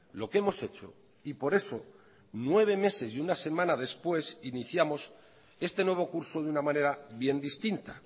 lo que hemos hecho y por eso nueve meses y una semana después iniciamos este nuevo curso de una manera bien distinta